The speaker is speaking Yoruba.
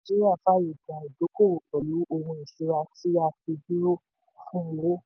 nàìjíríà fàyè gba ìdókòwò pẹ̀lú ohun ìṣúra tí a fi dúró fún owó.